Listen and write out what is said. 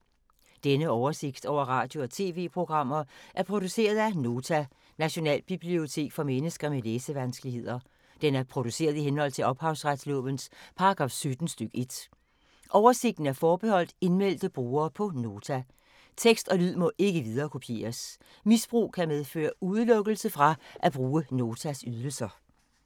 Denne oversigt over radio og TV-programmer er produceret af Nota, Nationalbibliotek for mennesker med læsevanskeligheder. Den er produceret i henhold til ophavsretslovens paragraf 17 stk. 1. Oversigten er forbeholdt indmeldte brugere på Nota. Tekst og lyd må ikke viderekopieres. Misbrug kan medføre udelukkelse fra at bruge Notas ydelser.